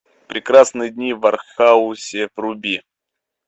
прекрасные дни в аранхуэсе вруби